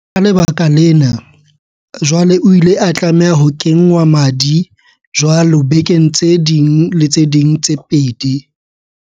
Ka lebaka lena, jwale o ile a tlameha ho kengwa madi jwalo bekeng tse ding le tse ding tse pedi.